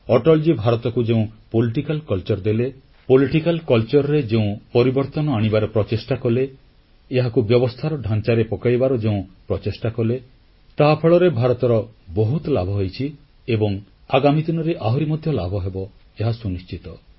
ଅଟଳଜୀ ଭାରତକୁ ଯେଉଁ ରାଜନୈତିକ ସଂସ୍କୃତି ଦେଲେ ଏହି ସଂସ୍କୃତିରେ ଯେଉଁ ପରିବର୍ତ୍ତନ କରିବାର ପ୍ରଚେଷ୍ଟା କଲେ ଏହାକୁ ବ୍ୟବସ୍ଥାର ଢାଂଚାରେ ପକାଇବାର ଯେଉଁ ପ୍ରଚେଷ୍ଟା କଲେ ତାହାଫଳରେ ଭାରତର ବହୁତ ଲାଭ ହୋଇଛି ଏବଂ ଆଗାମୀ ଦିନରେ ଆହୁରି ମଧ୍ୟ ଲାଭହେବ ଏହା ସୁନିଶ୍ଚିତ